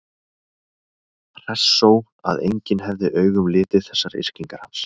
Hressó að enginn hefði augum litið þessar yrkingar hans?